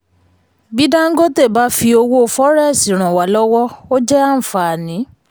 bí dangote bá fi owó fọrẹ́ẹ́sì ràn wá lọ́wọ́ ó jẹ́ àǹfààní.